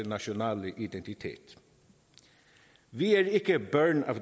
nationale identitet vi er ikke børn